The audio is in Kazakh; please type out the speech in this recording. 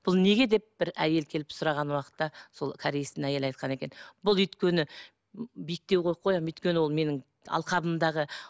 бұл неге деп бір әйел келіп сұраған уақытта сол кореецтің әйелі айтқан екен бұл өйткені биіктеу қойып қоямын өйткені ол менің алқабымдағы